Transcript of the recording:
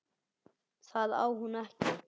Það á hún ekki.